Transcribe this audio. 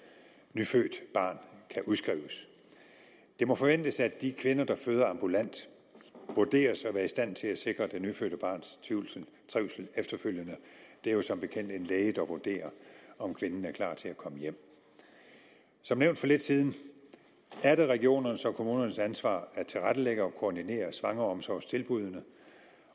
nyfødt barn kan udskrives det må forventes at de kvinder der føder ambulant vurderes at være i stand til at sikre det nyfødte barns trivsel efterfølgende det er jo som bekendt en læge der vurderer om kvinden er klar til at komme hjem som nævnt for lidt siden er det regionernes og kommunernes ansvar at tilrettelægge og koordinere svangreomsorgstilbuddene